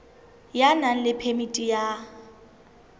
ya nang le phemiti ya